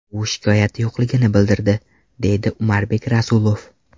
U shikoyati yo‘qligini bildirdi”, deydi Umarbek Rasulov.